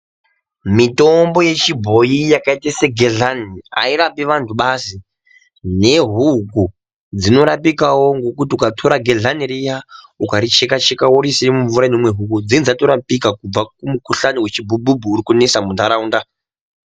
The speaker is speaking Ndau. Mitombo yechibhoyi yakaita segehlani hairapi vanhu basi. Nehuku dzinorapikawo kuti ukatora gedhlani riya ukacheka-cheka woriise mumvura iinomwa huku, dzinenga dzatorapika kubva kumukuhlani wechibhubhubhu uri kunetsa muntaraunda.